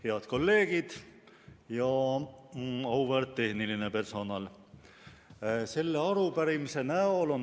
Head kolleegid ja auväärt tehniline personal!